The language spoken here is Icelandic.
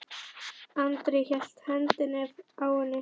Andri hélt í hendina á henni.